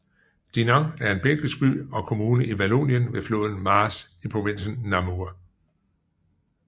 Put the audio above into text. Dinant er en belgisk by og kommune i Vallonien ved floden Maas i provinsen Namur